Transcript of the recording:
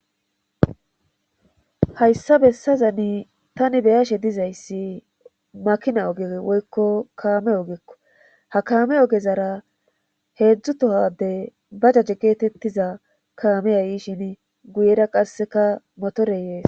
Hayssa bessazani tani beyashe dizayssi makina oge woykko kaame ogekko ha kaame ogezara heedzdzu tohade ba jaje geetettiza kaame yayi shin guyera qasseka motore yees.